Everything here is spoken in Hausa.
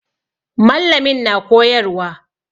Mallamin na koyarwa.